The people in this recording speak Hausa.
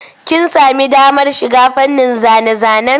Kin sami damar shiga fannin zane-zanen?